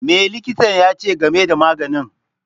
Me likitan ya ce game da maganin?